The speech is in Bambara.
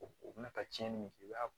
O bɛna ta ni i b'a